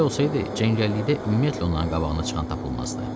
Belə olsaydı, cəngəllikdə ümumiyyətlə onların qabağına çıxan tapılmazdı.